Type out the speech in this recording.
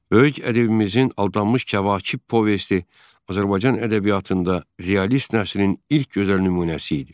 Böyük ədibimizin Aldanmış Kəvakib povesti Azərbaycan ədəbiyyatında realist nəsrinin ilk gözəl nümunəsi idi.